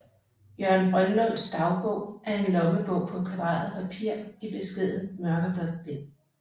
Jørgen Brønlunds dagbog er en lommebog på kvadreret papir i beskedent mørkeblåt bind